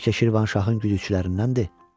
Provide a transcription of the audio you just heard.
Bəlkə Şirvanşahın güdüçülərindəndir?